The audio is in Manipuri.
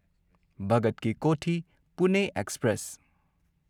ꯚꯒꯠ ꯀꯤ ꯀꯣꯊꯤ ꯄꯨꯅꯦ ꯑꯦꯛꯁꯄ꯭ꯔꯦꯁ